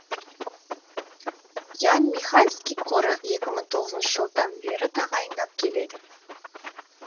ян михальский қоры екі мың тоғызыншы жылдан бері тағайындап келеді